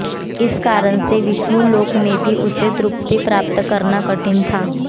इस कारण से विष्णुलोक में भी उसे तृप्ति प्राप्त करना कठिन था